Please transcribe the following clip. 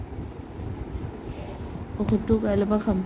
ঔষধতো কাইলেৰ পৰা খাম